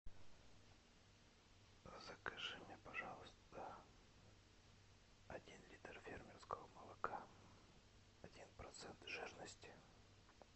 закажи мне пожалуйста один литр фермерского молока один процент жирности